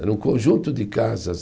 Era um conjunto de casas.